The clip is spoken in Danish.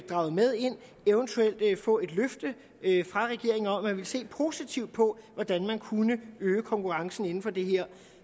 draget med ind og eventuelt få et løfte fra regeringen om at den ville se positivt på at hvordan man kunne øge konkurrencen inden for det her